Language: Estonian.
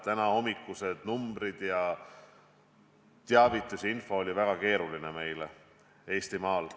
Tänahommikused numbrid ja info viitasid Eestimaal väga keerulisele seisule.